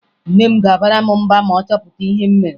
Nne m ga-abara m mba ma ọ chọpụta ihe m mere